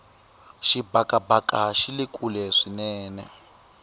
xibakabaka xile kule swinene